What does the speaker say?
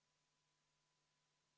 Palun võtta seisukoht ja hääletada!